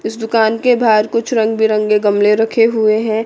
इस दुकान के बाहर कुछ रंग बिरंगे गमले रखे हुए हैं।